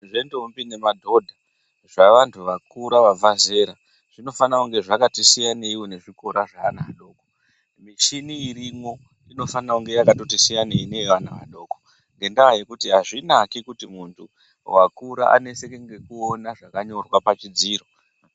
Zvendombi nemadhodha zvavantu vakura vabva zera zvinofanire kunge zvakati siyanei nezvikorazvaana adoko muchini irimwo inofanira kunge yakasiyana neyeana adoko ngendaya yekuti azvinaki kuti muntu wakura aneseke ngekuona zvakanyorwa pachidziro .